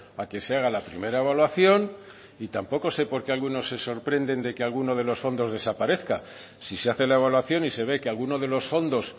a que se haga la primera evaluación y tampoco sé porqué algunos se sorprenden de que alguno de los fondos desaparezca si se hace la evaluación y se ve que alguno de los fondos